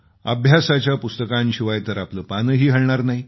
अभ्यासाच्या पुस्तकांशिवाय तर आपलं पानही हलणार नाही